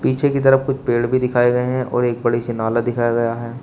पीछे की तरफ कुछ पेड़ भी दिखाए गए हैं और एक बड़ी सी नाला दिखाया गया है।